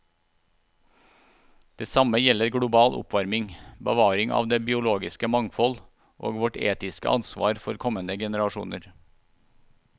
Det samme gjelder global oppvarming, bevaring av det biologiske mangfold og vårt etiske ansvar for kommende generasjoner.